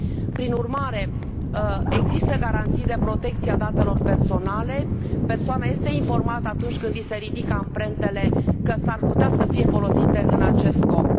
Prin urmare, există garanții de protecție a datelor personale, persoana este informată atunci când i se ridică amprentele că s ar putea să fie folosite în acest scop.